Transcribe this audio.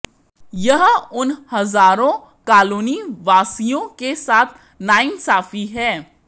यह उन हजारों कालोनी वासियों के साथ नाइंसाफी है